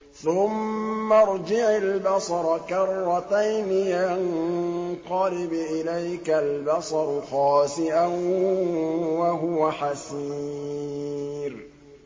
ثُمَّ ارْجِعِ الْبَصَرَ كَرَّتَيْنِ يَنقَلِبْ إِلَيْكَ الْبَصَرُ خَاسِئًا وَهُوَ حَسِيرٌ